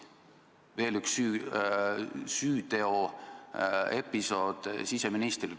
Veel üks süüteoepisood siseministrile.